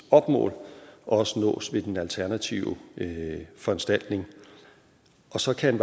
mål også nås ved den alternative foranstaltning så kan